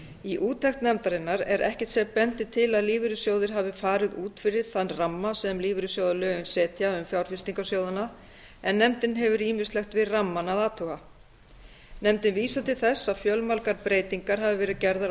í úttekt nefndarinnar er ekkert sem bendir til að lífeyrissjóðir hafi farið út fyrir þann ramma sem lífeyrissjóðalögin setja um fjárfestingar sjóðanna en nefndin hefur ýmislegt við rammann að athuga nefndin vísar til þess að fjölmargar breytingar hafi verið gerðar á þrítugasta